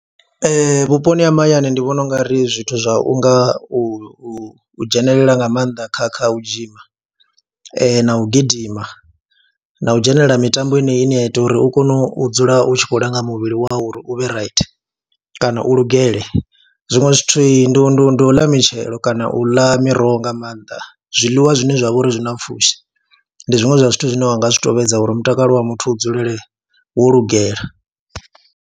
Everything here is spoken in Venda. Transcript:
Ee, vhuponi ha mahayani ndi vhona u nga ri zwithu zwa u nga u u dzhenelela nga maanḓa kha kha u dzhima na u gidima na u dzhenelela mitambo henei ine ya ita uri u kone u dzula u tshi khou langa muvhili wau uri u vhe right kana u lugele, zwiṅwe zwithu ndi ndi ndi ndi u ḽa mitshelo kana u ḽa miroho nga maanḓa, zwiḽiwa zwine zwa vha uri zwi na pfhushi ndi zwiṅwe zwa zwithu zwine wa nga zwi tou vhidza uri mutakalo wa muthu u dzulele wo lugela.